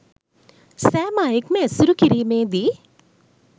සෑම අයෙක්ම ඇසුරු කිරීමේ දී